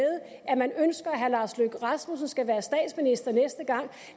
at man ønsker at herre lars løkke rasmussen skal være statsminister næste gang